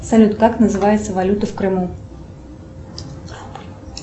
салют как называется валюта в крыму